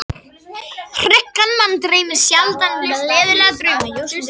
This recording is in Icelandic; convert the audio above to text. Hryggan mann dreymir sjaldan gleðilega drauma.